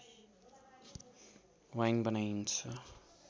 wine बनाइन्छ